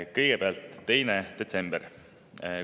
Kõigepealt 2. detsembri.